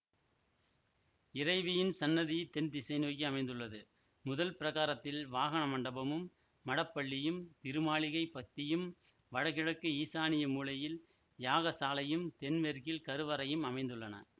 இறைவியின் சன்னதி தென்திசை நோக்கி அமைந்துள்ளது முதல் பிரகாரத்தில் வாகன மண்டபமும் மடப்பள்ளியும் திருமாளிகைப் பத்தியும் வடகிழக்கு ஈசானிய மூலையில் யாகசாலையும் தென் மேற்கில் கருவறையும் அமைந்துள்ளன